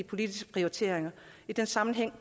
politisk prioritering og i den sammenhæng